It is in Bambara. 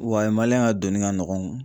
Wa ka donni ka nɔgɔn